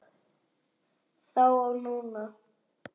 Þá og núna.